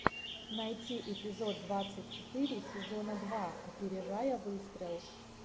найти эпизод двадцать четыре сезона два опережая выстрел